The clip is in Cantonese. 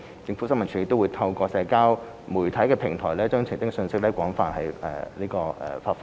政府新聞處也透過在社交媒體平台，把澄清信息廣泛發放。